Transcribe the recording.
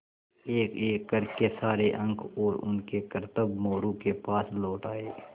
एकएक कर के सारे अंक और उनके करतब मोरू के पास लौट आये